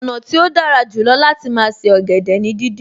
Ọ̀nà tí ó dára jù lọ láti máa se ọ̀gẹ̀dẹ̀ ni díndín